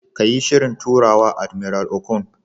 Kayi Shirin turawa, Admiral Okon,